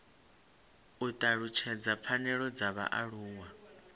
u talutshedza pfanelo dza vhaaluwa